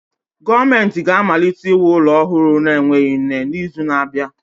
Gọọmentị ga-amalite iwu ụlọ ọhụrụ na-enweghị nne n'izu na-abịa.